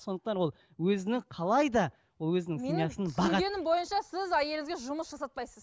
сондықтан ол өзінің қалай да өзінің семьясын бағады түсінгенім бойынша сіз әйелге жұмыс жасатпайсыз